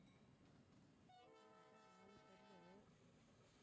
அதான் நாலு sem உ